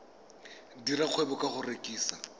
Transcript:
dira kgwebo ka go rekisa